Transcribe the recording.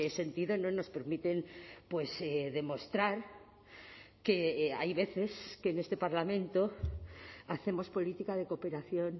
sentido no nos permiten demostrar que hay veces que en este parlamento hacemos política de cooperación